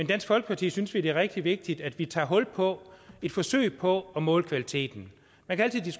dansk folkeparti synes vi det er rigtig vigtigt at vi tager hul på et forsøg på at måle kvaliteten